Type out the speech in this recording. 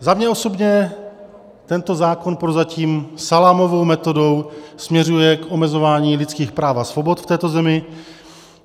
Za mě osobně tento zákon prozatím salámovou metodou směřuje k omezování lidských práv a svobod v této zemi.